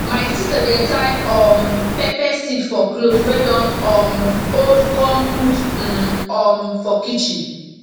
my sister dey tie um pepper seed for cloth wey don um old com put um um for kitchen